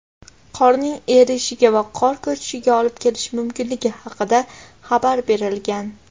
qorning erishiga va qor ko‘chishiga olib kelishi mumkinligi haqida xabar berilgan.